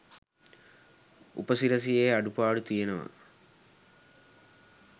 උපසිරසියෙ අඩුපාඩු තියෙනව